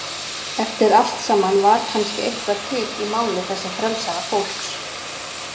Eftir allt saman var kannski eitthvað til í máli þessa frelsaða fólks.